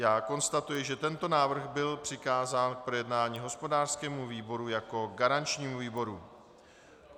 Já konstatuji, že tento návrh byl přikázán k projednání hospodářskému výboru jako garančnímu výboru.